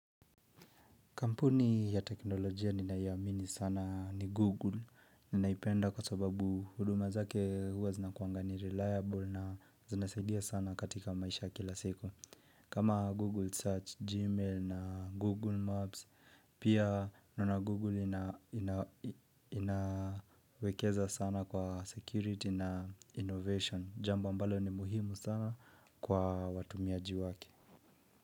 Kampuni ya teknolojia ninayoamini sana ni Google. Ninaipenda kwa sababu huduma zake huwa zinakuanga ni reliable na zinasaidia sana katika maisha kila siku. Kama Google Search, Gmail na Google Maps, pia naona Google inawekeza sana kwa security na innovation. Jamba ambalo ni muhimu sana kwa watumiaji wake.